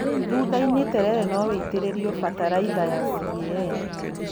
Thutha-inĩ terere no wĩitĩrĩrio bataraitha ya CAN.